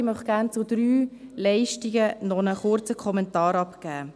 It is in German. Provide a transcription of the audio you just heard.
Ich möchte gerne zu drei Leistungen noch einen kurzen Kommentar abgeben.